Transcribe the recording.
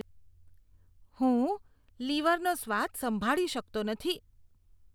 હું લીવરનો સ્વાદ સંભાળી શકતો નથી.